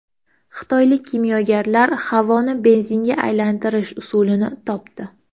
Xitoylik kimyogarlar havoni benzinga aylantirish usulini topdi.